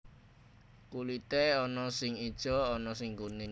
Kulité ana sing ijo ana sing kuning